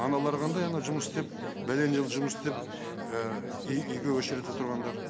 аналар қандай ана жұмыс істеп бәлен жыл жұмыс істеп үй үйге өшіредте тұрғандар